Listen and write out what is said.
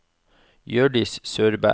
Hjørdis Søberg